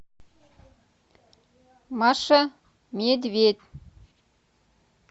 маша медведь